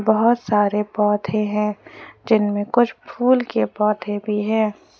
बहुत सारे पौधे हैं जिनमें कुछ फूल के पौधे भी हैं।